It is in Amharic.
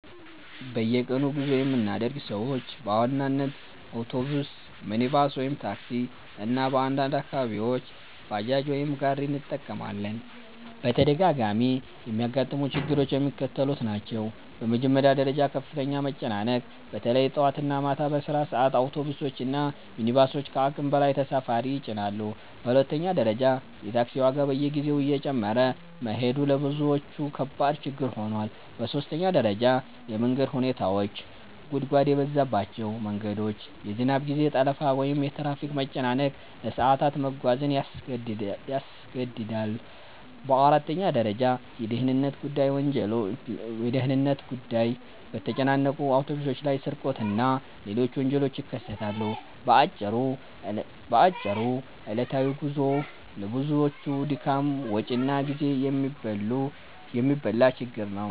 በየቀኑ ጉዞ የምናደርግ ሰዎች በዋናነት አውቶቡስ፣ ሚኒባስ (ታክሲ) እና በአንዳንድ አካባቢዎች ባጃጅ ወይም ጋሪ እንጠቀማለን። በተደጋጋሚ የሚያጋጥሙ ችግሮች የሚከተሉት ናቸው፦ በመጀመሪያ ደረጃ ከፍተኛ መጨናነቅ – በተለይ ጠዋት እና ማታ በስራ ሰዓት አውቶቡሶች እና ሚኒባሶች ከአቅም በላይ ተሳፋሪ ይጭናሉ። በሁለተኛ ደረጃ የታክሲ ዋጋ በየጊዜው እየጨመረ መሄዱ ለብዙዎች ከባድ ችግር ሆኗል። በሦስተኛ ደረጃ የመንገድ ሁኔታዎች – ጉድጓድ የበዛባቸው መንገዶች፣ የዝናብ ጊዜ ጠለፋ ወይም የትራፊክ መጨናነቅ ለሰዓታት መጓዝን ያስገድዳል። በአራተኛ ደረጃ የደህንነት ጉዳይ – በተጨናነቁ አውቶቡሶች ላይ ስርቆት እና ሌሎች ወንጀሎች ይከሰታሉ። በአጭሩ ዕለታዊ ጉዞው ለብዙዎች ድካም፣ ወጪ እና ጊዜ የሚበላ ችግር ነው።